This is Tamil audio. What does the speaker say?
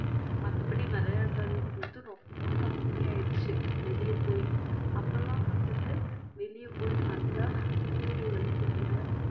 மத்தபடி விளையாடுறதுன்றது ரொம்ப கம்மி ஆயிடுச்சு வெளிய போய் அப்பல்லாம் வந்துட்டு வெளிய போய் நல்லா சூரிய வெளிச்சத்துல